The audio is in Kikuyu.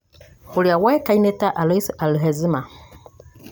ũrĩa woĩkaine ta Alois Alzheimer,